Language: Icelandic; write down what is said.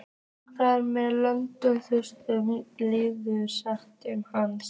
Þar sem lög þrýtur lýkur starfsemi hans.